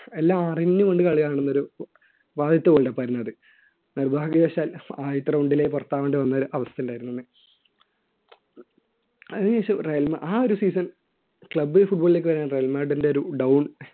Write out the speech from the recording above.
എല്ലാം അറിഞ്ഞുകൊണ്ട് കളി കാണുന്ന ഒരു ആദ്യത്തെ world cup ആയിരുന്നു അത് നിർഭാഗ്യവശാൽ ആദ്യത്തെ round ലെ പുറത്താകേണ്ടി വന്ന ഒരു അവസ്ഥ ഉണ്ടായിരുന്നു അന്ന് അതിനുശേഷം റെയിൽമാ ആ ഒരു season club football ലേക്ക് വരുന്ന റയൽ മാഡ്രിന്റെ ഒരു down